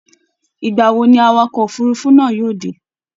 Ìgbà wo ni awakọ̀ òfurufú náà yóò dé?